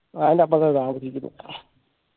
അതിൻറെ അപ്പറത്ത താമസിക്കുന്ന